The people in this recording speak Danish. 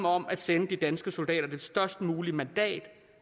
om at sende de danske soldater det størst mulige mandat